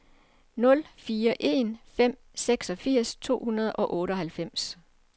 nul fire en fem seksogfirs to hundrede og otteoghalvfems